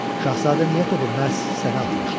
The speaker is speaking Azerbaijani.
Şahzadə niyə topu məhz sənə atmışdı?